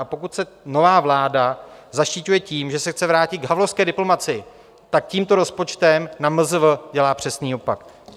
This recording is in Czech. A pokud se nová vláda zaštiťuje tím, že se chce vrátit k havlovské diplomacii, tak tímto rozpočtem na MZV dělá přesný opak.